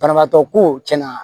Banabaatɔ ko cɛn na